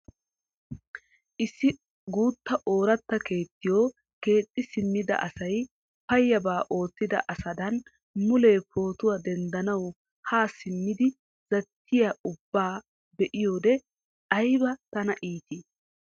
Issi guutta oratta keettiyoo keexxi simmida asay payyaba oottida asadan mulee pootuwaa denddanawu haa simmidi zattiyaa ubbaa be'iyoode ayba tana itii!